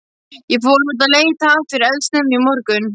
Ég fór út að leita að þér eldsnemma í morgun.